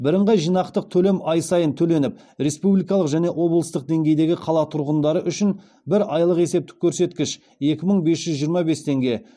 бірыңғай жиынтық төлем ай сайын төленіп республикалық және облыстық деңгейдегі қала тұрғындары үшін бір айлық есептік көрсеткіш